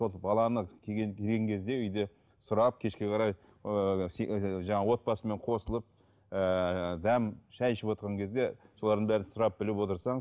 сол баланы келген келген кезде үйде сұрап кешке қарай ыыы жаңағы отбасымен қосылып ыыы дәм шай ішіп отырған кезде солардың бәрін сұрап біліп отырсаң